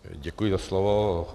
Děkuji za slovo.